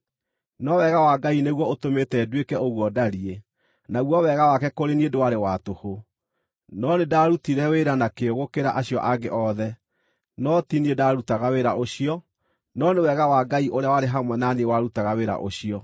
No wega wa Ngai nĩguo ũtũmĩte nduĩke ũguo ndariĩ, naguo wega wake kũrĩ niĩ ndwarĩ wa tũhũ. No nĩndarutire wĩra na kĩyo gũkĩra acio angĩ othe, no ti niĩ ndaarutaga wĩra ũcio, no nĩ wega wa Ngai ũrĩa warĩ hamwe na niĩ warutaga wĩra ũcio.